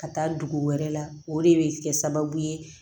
Ka taa dugu wɛrɛ la o de bɛ kɛ sababu ye